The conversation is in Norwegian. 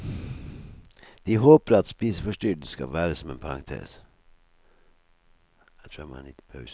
De håper at spiseforstyrrelsen skal være som en parentes.